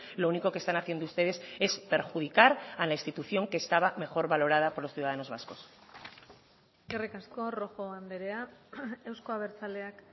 lo único que están haciendo ustedes es perjudicar a la institución que estaba mejor valorada por los ciudadanos vascos eskerrik asko rojo andrea euzko abertzaleak